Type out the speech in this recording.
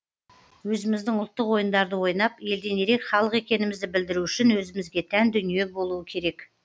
өзіміздің ұлттық ойындарды ойнап елден ерек халық екенімізді білдіру үшін өзімізге тән дүние болуы керек